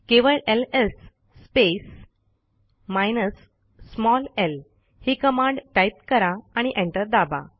केवळ LS space minus small L ही command type करा आणि एंटर दाबा